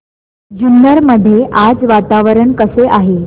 जुन्नर मध्ये आज वातावरण कसे आहे